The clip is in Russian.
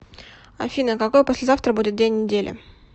афина какой послезавтра будет день недели